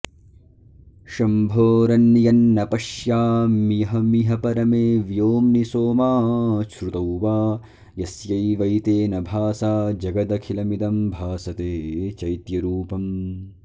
शम्भोरन्यन्न पश्याम्यहमिह परमे व्योम्नि सोमाच्छ्रुतौ वा यस्यैवैतेन भासा जगदखिलमिदं भासते चैत्यरूपम्